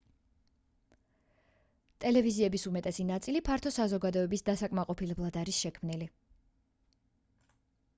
ტელევიზიების უმეტესი ნაწილი ფართო საზოგადოების დასაკმაყოფილებლად არის შექმნილი